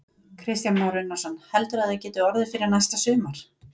Kristján Már Unnarsson: Heldurðu að það geti orðið fyrir næsta sumar?